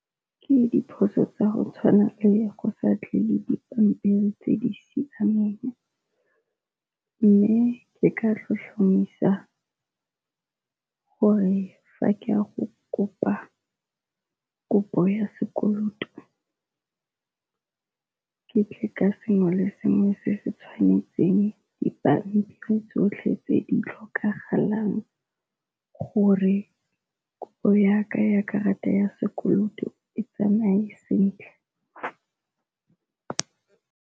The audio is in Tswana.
Ke diphoso tsa go tshwana le go sa tle le dipampiri tse di siameng, mme ke ka tlhotlhomisa gore fa ke a go kopa kopo ya sekoloto ke tle ka sengwe le sengwe se se tshwanetseng. Dipampiri tsotlhe tse di tlhokagalang gore kopo ya ka ya karata ya sekoloto e tsamaye sentle.